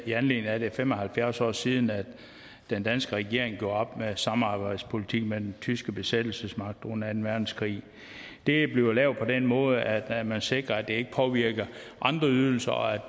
i anledning af at det er fem og halvfjerds år siden at den danske regering gjorde op med samarbejdspolitikken med den tyske besættelsesmagt under anden verdenskrig det bliver lavet på den måde at man sikrer at det ikke påvirker andre ydelser og